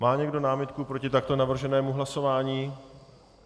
Má někdo námitku proti takto navrženému hlasování?